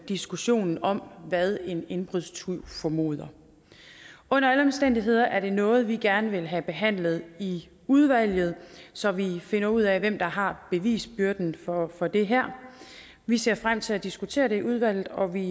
diskussionen om hvad en indbrudstyv formoder under alle omstændigheder er det noget vi gerne vil have behandlet i udvalget så vi finder ud af hvem der har bevisbyrden for for det her vi ser frem til at diskutere det i udvalget og vi